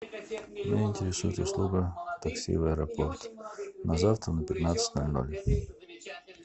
меня интересует услуга такси в аэропорт на завтра в пятнадцать ноль ноль